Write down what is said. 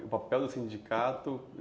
E o papel do sindicato?